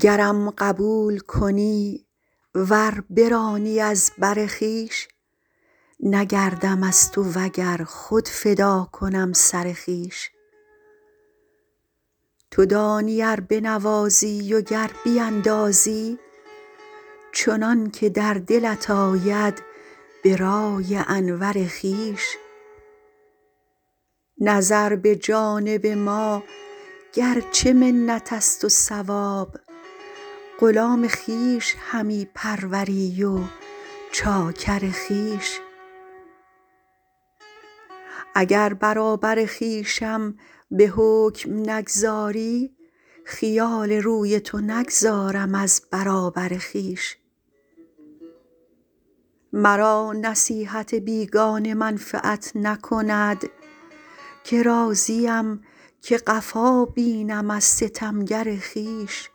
گرم قبول کنی ور برانی از بر خویش نگردم از تو و گر خود فدا کنم سر خویش تو دانی ار بنوازی و گر بیندازی چنان که در دلت آید به رأی انور خویش نظر به جانب ما گر چه منت است و ثواب غلام خویش همی پروری و چاکر خویش اگر برابر خویشم به حکم نگذاری خیال روی تو نگذارم از برابر خویش مرا نصیحت بیگانه منفعت نکند که راضیم که قفا بینم از ستمگر خویش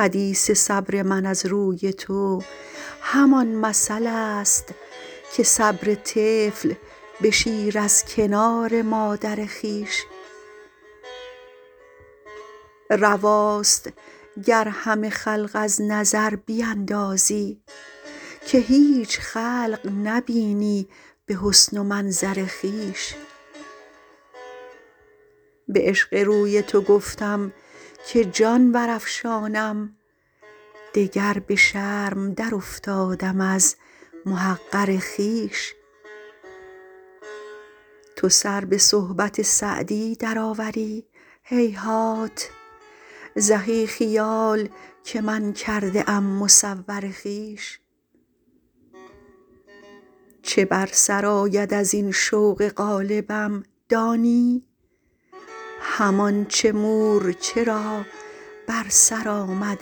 حدیث صبر من از روی تو همان مثل است که صبر طفل به شیر از کنار مادر خویش رواست گر همه خلق از نظر بیندازی که هیچ خلق نبینی به حسن و منظر خویش به عشق روی تو گفتم که جان برافشانم دگر به شرم درافتادم از محقر خویش تو سر به صحبت سعدی درآوری هیهات زهی خیال که من کرده ام مصور خویش چه بر سر آید از این شوق غالبم دانی همان چه مورچه را بر سر آمد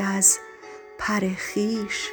از پر خویش